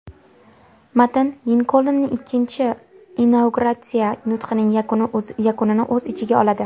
Matn Linkolnning ikkinchi inauguratsiya nutqining yakunini o‘z ichiga oladi.